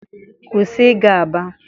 kwụsị ịga aba!